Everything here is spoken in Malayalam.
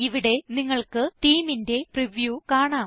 ഇവിടെ നിങ്ങൾക്ക് themeന്റെ പ്രിവ്യൂ കാണാം